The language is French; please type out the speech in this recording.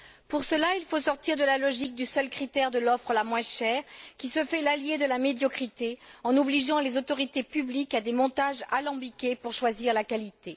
Pour cela, il faut sortir de la logique du seul critère de l'offre la moins chère, qui se fait l'alliée de la médiocrité en obligeant les autorités publiques à des montages alambiqués pour choisir la qualité.